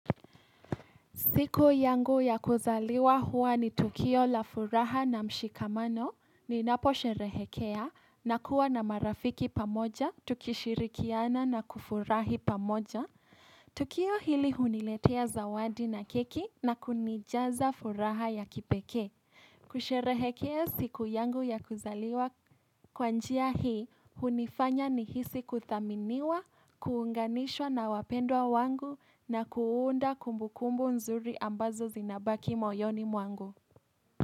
Siku yangu ya kuzaliwa hua ni tukio la furaha na mshikamano ninapo sherehekea na kuwa na marafiki pamoja, tukishirikiana na kufurahi pamoja. Tukio hili huniletea zawadi na keki na kunijaza furaha ya kipekee. Kusherehekea siku yangu ya kuzaliwa kwa njia hii, hunifanya ni hisi kuthaminiwa, kuunganishwa na wapendwa wangu na kuunda kumbukumbu nzuri ambazo zinabaki moyoni mwangu.